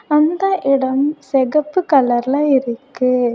அந்த இடம் சிகப்பு கலர்ல இருக்கு.